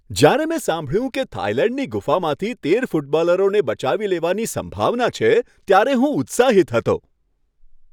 જ્યારે મેં સાંભળ્યું કે થાઈલેન્ડની ગુફામાંથી તેર ફૂટબોલરોને બચાવી લેવાની સંભાવના છે ત્યારે હું ઉત્સાહિત હતો.